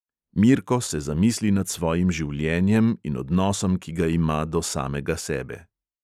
Mirko se zamisli nad svojim življenjem in odnosom, ki ga ima do samega sebe.